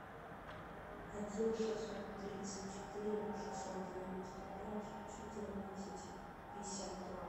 один шестьсот тридцать четыре шестьсот девяносто пять четырнадцать пятьдесят два